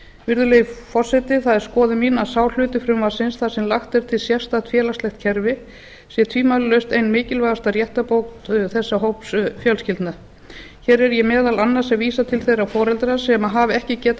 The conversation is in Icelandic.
virðulegi forseti það er skoðun mín að sá hluti frumvarpsins þar sem lagt er til sérstakt félagslegt kerfi sé tvímælalaust ein mikilvægasta réttarbót þessa hóps fjölskyldna hér er ég meðal annars að vísa til þeirra foreldra sem hafa ekki getað